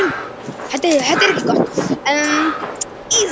Gæludýr geta líka gefið frá sér ofnæmisvalda.